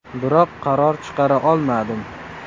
Biroq qaror chiqara olmadim.